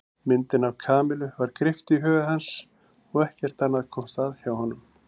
Myndin af Kamillu var greipt í huga hans og ekkert annað komst að hjá honum.